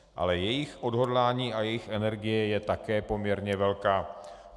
Ale jejich odhodlání a jejich energie je také poměrně velká.